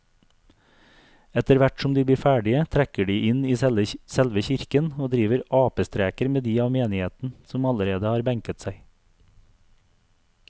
Etterthvert som de blir ferdige trekker de inn i selve kirken og driver apestreker med de av menigheten som allerede har benket seg.